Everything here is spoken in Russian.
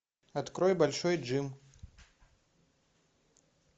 открой большой джим